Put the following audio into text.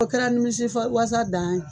O kɛra nimisi fa walasa dan ye